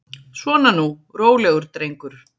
Svona nú, rólegur drengur.